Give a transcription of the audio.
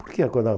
Por que acordava?